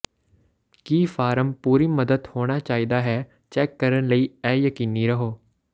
ਕੀ form ਪੂਰੀ ਮਦਦ ਹੋਣਾ ਚਾਹੀਦਾ ਹੈ ਚੈੱਕ ਕਰਨ ਲਈ ਇਹ ਯਕੀਨੀ ਰਹੋ